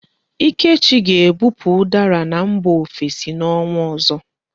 Ikechi ga-ebupu ụdara na mba ofesi n'ọnwa ọzọ.